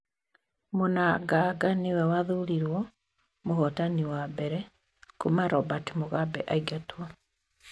Mnanganga nĩ we wathurirwo mũhootani wa mbere kuuma Robert Mugabe aingatwo.